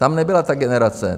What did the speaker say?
Tam nebyla ta generace.